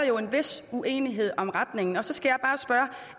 jo en vis uenighed om retningen og så skal